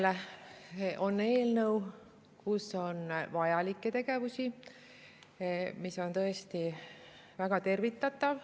No jälle on eelnõu, kus on vajalikke tegevusi, mis on tõesti väga tervitatav.